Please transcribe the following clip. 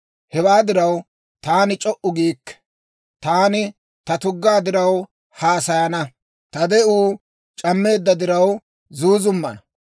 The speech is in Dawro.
«Hewaa diraw, taani c'o"u giikke; taani ta tuggaa diraw haasayana; ta de'uu c'ammeedda diraw zuuzummana.